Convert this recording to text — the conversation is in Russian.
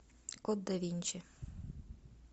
код да винчи